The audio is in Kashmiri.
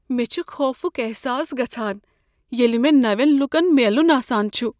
مےٚ چُھ خوفک احساس گژھان ییٚلِہ مےٚ نوین لوٗکن میلٖن آسان چھ۔